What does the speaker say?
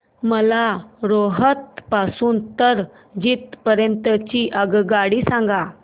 मला रोहतक पासून तर जिंद पर्यंत ची आगगाडी सांगा